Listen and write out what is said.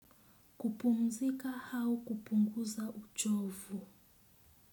Kupumzika au kupunguza uchovu.